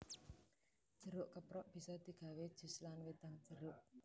Jeruk keprok bisa digawé jus lan wedang jeruk